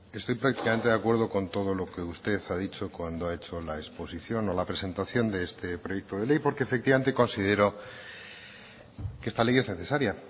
estoy prácticamente de acuerdo con todo lo que usted ha dicho cuando ha hecho la exposición o la presentación de este proyecto de ley porque efectivamente considero que esta ley es necesaria